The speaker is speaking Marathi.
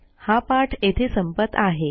हा पाठ येथे संपत आहे